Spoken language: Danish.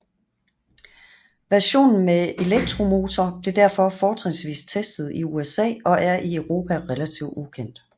Versionen med elektromotor blev derfor fortrinsvis testet i USA og er i Europa relativt ukendt